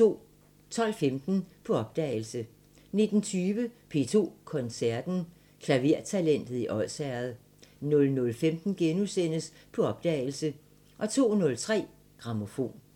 12:15: På opdagelse 19:20: P2 Koncerten – Klavertalentet i Odsherred 00:15: På opdagelse * 02:03: Grammofon